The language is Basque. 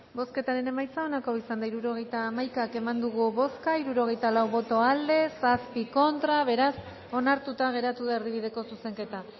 bozketaren emaitza onako izan da hirurogeita hamaika eman dugu bozka hirurogeita lau boto aldekoa siete contra beraz onartuta geratu da erdibideko zuzenketa